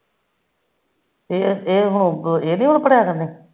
ਇਹ ਹੁਣ ਇਹਨੇ ਭਰਾਇਆ ਕਰਨੇ